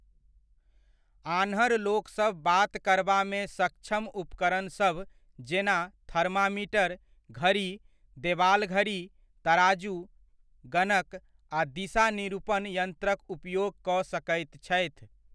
आन्हर लोकसभ बात करबामे सक्षम उपकरणसभ जेना थर्मामीटर, घड़ी, देवाल घड़ी, तराजू, गणक, आ दिशा निरूपण यन्त्रक उपयोग कऽ सकैत छथि।